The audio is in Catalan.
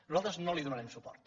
nosaltres no hi donarem suport